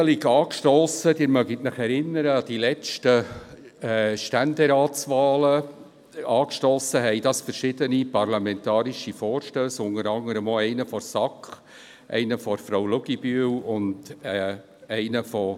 Diese Regelung angestossen haben – Sie erinnern sich an die letzten Ständeratswahlen – verschiedene Vorstösse, unter anderem von der SAK , von Frau Luginbühl sowie ein Vorstoss